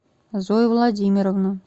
зою владимировну